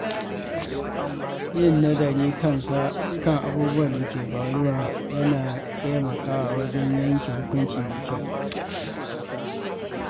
Yin nazari kan abubuwan da ke faruwa yana taimakawa wajen yanke hukunci mai kyau.